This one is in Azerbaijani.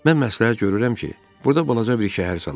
"Mən məsləhət görürəm ki, burda balaca bir şəhər salaq.